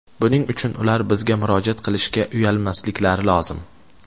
Buning uchun ular bizga murojaat qilishga uyalmasliklari lozim.